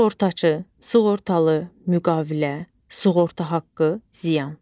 Sığortaçı, sığortalı, müqavilə, sığorta haqqı, ziyan.